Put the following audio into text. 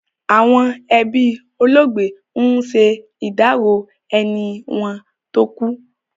Àwọn ẹbí olóògbé ń ṣe ìdárò ẹni wọn tó kú.